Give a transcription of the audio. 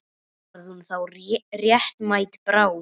Varð hún þá réttmæt bráð?